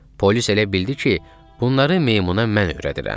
Polis elə bildi ki, bunları meymuna mən öyrədirəm.